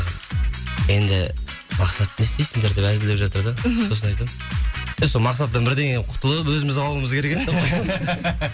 енді мақсатты не істейсіңдер деп әзілдеп жатыр да сосын айтамын е сол мақсаттан бірдеңе қылып құтылып өзіміз қалуымыз керек деп қоямын